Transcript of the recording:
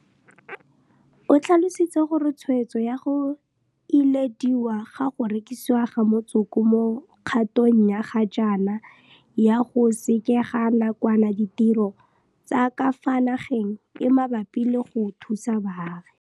O tlhalositse gore tshwetso ya go ilediwa ga go rekisiwa ga motsoko mo kgatong ya ga jaana ya go sekega nakwana ditiro tsa ka fa nageng e mabapi le go thusa baagi.